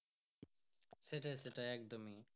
সেটাই সেটাই একদমই।